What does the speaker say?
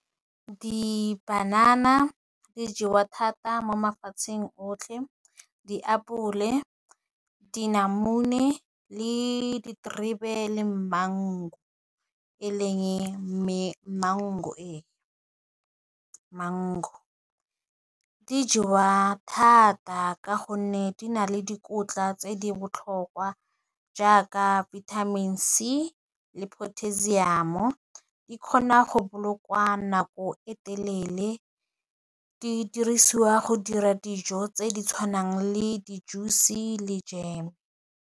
Dipanana dijewa thata mo mafatsheng otlhe, diapole, dinamune, le diterebe, eleng mango, mango, di jewa thata ka gonne di na le dikotla tse di botlhokwa jaaka vitamin C di le potassium-o, di kgona go bolokwa nako e telele, di dirisiwa go dira dijo tse di tshwanang le di juice le jam.